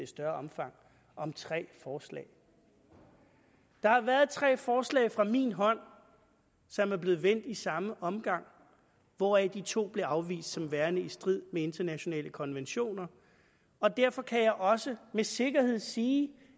større omfang om tre forslag der har været tre forslag fra min hånd som er blevet vendt i samme omgang hvoraf de to blev afvist som værende i strid med internationale konventioner og derfor kan jeg også med sikkerhed sige